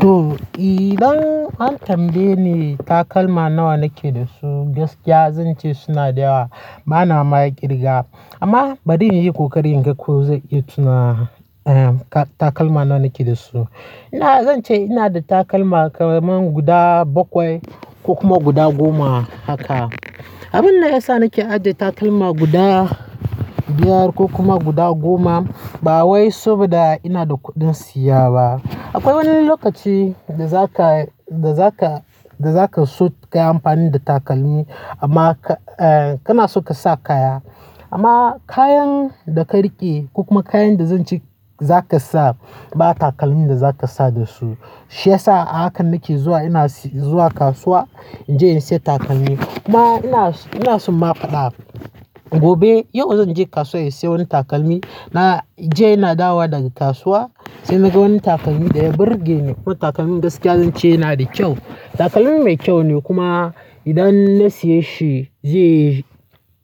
To, idan an tambaye ni takalma nawa nake da su, gaskiya zan ce suna da yawa. Bana ma ƙirga amma bari inyai kokarin inga ko zan iya tuna takalma nawa nake da su. Ina, zance ina da takalma ƙaraman guda baƙwai ko kuma guda goma haka. Abin da ya sa nake ajiye takalma guda biyar ko kuma guda goma ba wai saboda ina da kuɗin siya ba. Aƙwai wani lokaci da zaka, da zaka, da zaka so ka yi amfani da takalmi amma kana so ka sa kaya. Amma kayan da ka riƙe ko kuma kayan da zance zaka sa ba takalmin da zaka sa dasu. Shi yasa a haka nake zuwa ina zuwa kasuwa inje in siya takalmi. Kuma ina so, ina so inma fadi abu. Gobe, yau zan je kasuwa in siya wani takalmi. Na jiya ina dawa daga kasuwa sai na ga wani takalmi da ya burge ni. Ko takalmin gaskiya zance yana da ƙyau. Takalmi mai kyau ne kuma idan na siya shi zai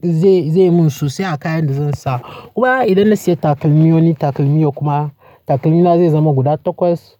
zai, zai mun sosai a kayan da zan sa. Kuma idan na siya takalmi wani takalmi yau kuma takalmina zai zama guda takwas.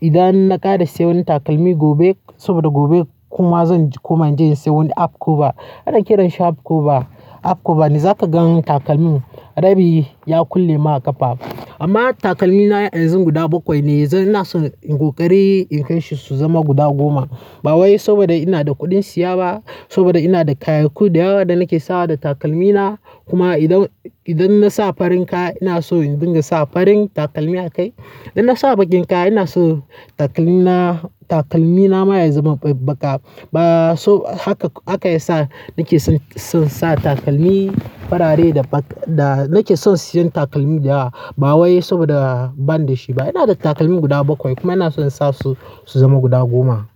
Idan na ƙara siya wani takalmi gobe saboda gobe kuma zan koma je in siya wani have koba. Ana kiran shi have koba. Up koba ne zaka gan takalmin rabi ya kulle maƙafa. Amma takalmina yanzu guda bakwai ne. Ina son in ƙoƙari in kai shi su zama guda goma. Ba wai saboda ina da kuɗin siya ba, saboda ina da kayayyaki da yawa da nake sawa da takalmina. Kuma idan, idan na sa farin kaya ina so in dinga sa farin takalmi a kai. Idan na sa baƙin kaya ina so takalmina, takalmina ma ya zama baƙi. Ba so haka, haka yasa nake son sa takalmi farare da baƙi. Da nake son siyan takalmi da yawa ba wai saboda bani da shi ba. Ina da takalmi guda bakwai kuma ina son in sa su su zama guda goma.